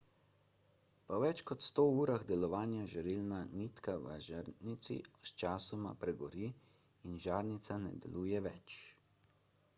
po več sto urah delovanja žarilna nitka v žarnici sčasoma pregori in žarnica ne deluje več